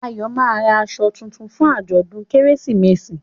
Ayo má rà aṣọ títún fún ajọdun Kérésìmesì